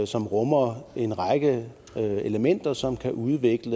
som rummer en række elementer som kan udvikle